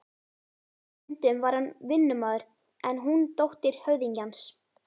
Stundum var hann vinnumaður en hún dóttir höfðingjans.